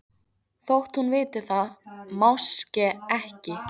Þótt hún viti það máske ekki.